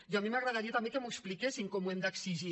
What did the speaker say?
i a mi m’agradaria també que m’ho expliquessin com ho hem d’exigir